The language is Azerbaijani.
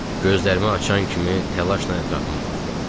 Gözlərimi açan kimi təlaşla ətrafıma baxdım.